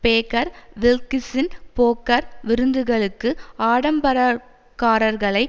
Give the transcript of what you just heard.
Baker வில்க்கிசின் poker விருந்துகளுக்கு ஆடம்பரக்கார்களை